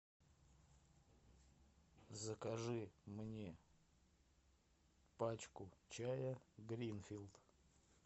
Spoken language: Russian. закажи мне пачку чая гринфилд